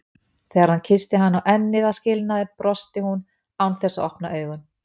Þegar hann kyssti hana á ennið að skilnaði brosti hún án þess að opna augun.